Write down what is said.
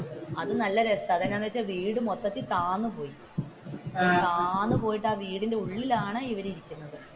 അത് നല്ല രസമാണ് വീട് മൊത്തത്തിൽ താഴ്ന്നു പോയി താഴ്ന്നു പോയിട്ട് ആ വീടിന്റെ ഉള്ളിലാണ്.